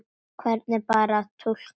Hvernig bar að túlka þau?